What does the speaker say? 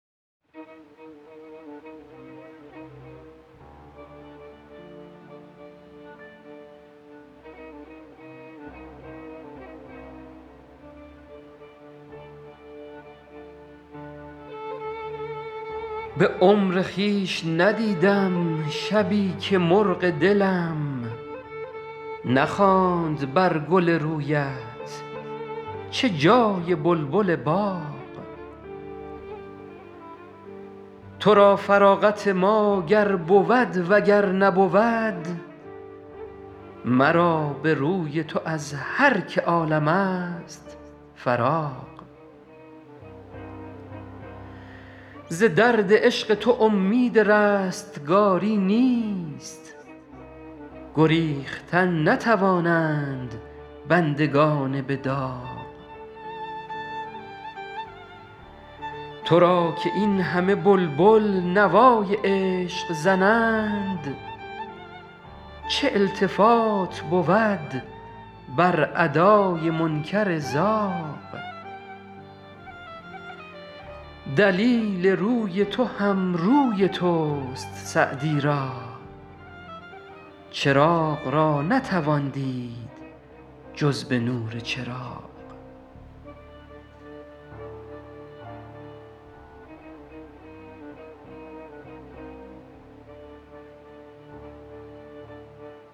به عمر خویش ندیدم شبی که مرغ دلم نخواند بر گل رویت چه جای بلبل باغ تو را فراغت ما گر بود و گر نبود مرا به روی تو از هر که عالم ست فراغ ز درد عشق تو امید رستگاری نیست گریختن نتوانند بندگان به داغ تو را که این همه بلبل نوای عشق زنند چه التفات بود بر ادای منکر زاغ دلیل روی تو هم روی توست سعدی را چراغ را نتوان دید جز به نور چراغ